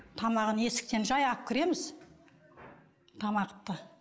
тамағын есіктен жай алып кіреміз тамақты